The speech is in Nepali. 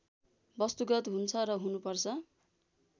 वस्तुगत हुन्छ र हुनुपर्छ